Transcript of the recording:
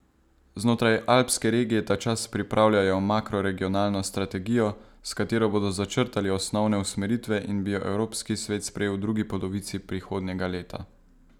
Znotraj Alpske regije tačas pripravljajo makroregionalno strategijo, s katero bodo začrtali osnovne usmeritve in bi jo Evropski svet sprejel v drugi polovici prihodnjega leta.